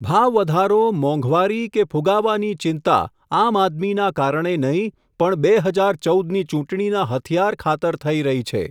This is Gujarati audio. ભાવવધારો ! મોંઘવારી! કે ફૂગાવાની ચિંતા આમઆદમીના કારણે નહિં, પણ બે હજાર ચૌદ ની ચૂંટણીના હથિયાર ખાતર થઈ રહી છે.